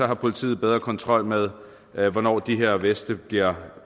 har politiet bedre kontrol med med hvornår de her veste bliver